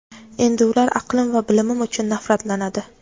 endi ular aqlim va bilimim uchun nafratlanadi.